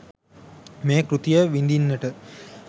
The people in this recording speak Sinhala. මේ කෘතිය විඳින්නට